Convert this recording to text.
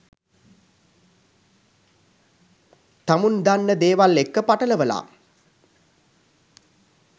තමුන් දන්න දේවල් එක්ක පටලවලා